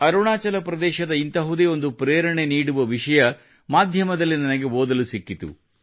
ಅರುಣಾಚಲ ಪ್ರದೇಶದ ಇಂತಹುದೇ ಒಂದು ಪ್ರೇರಣೆ ನೀಡುವ ವಿಷಯ ಮಾಧ್ಯಮದಲ್ಲಿ ನನಗೆ ಓದಲು ಸಿಕ್ಕಿತು